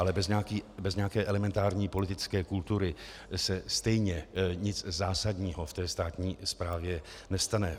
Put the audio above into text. Ale bez nějaké elementární politické kultury se stejně nic zásadního v té státní správě nestane.